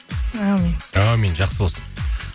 әумин әумин жақсы болсын